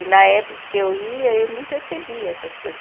E na época que eu ia, eu não percebia essas coisas.